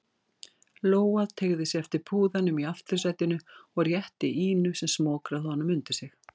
Lóa teygði sig eftir púðanum í aftursætinu og rétti Ínu sem smokraði honum undir sig.